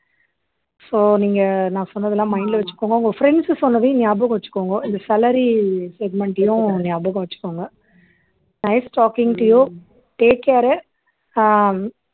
so நீங்க நான் சொன்னதெல்லாம் mind ல வச்சுக்கோங்க உங்க friends சொன்னதையும் ஞாபகம் வச்சுக்கோங்க இந்த salary segment லயும் ஞாபகம் வச்சுக்கோங்க nice talking to you take care uh ah